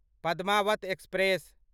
Padmaavat express